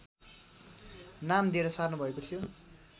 नाम दिएर सार्नु भएको थियो